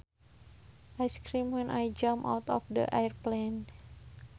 I screamed when I jumped out of the airplane